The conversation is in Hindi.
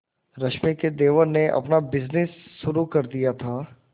रश्मि के देवर ने अपना बिजनेस शुरू कर दिया था